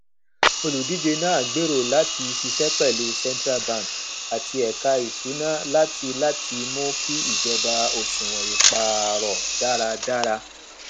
olùdíje náà gbèrò láti ṣiṣẹ pẹlú central bank àti ẹka ìṣúná látiláti mú kí ìjọba òṣùwọn ìpààrọ dáradára